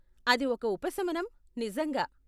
అది ఒక ఉపశమనం, నిజంగా.